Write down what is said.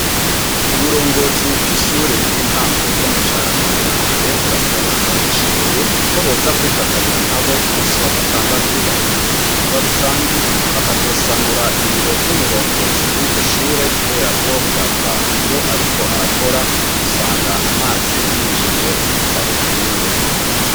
Uburongozi bw'ishure ry'intango ryo mu Carama ya mbere, burasaba ababishoboye, ko boza kw'ifatanya nabo ku musi wa gatandatu bafise ibikorwa rusangi, bakazosanura ibiro vy'umurongozi w'iryo shure, kubera ko birava iyo ariko arakora, usanga amazi yinjiye ku bitabo vyiwe.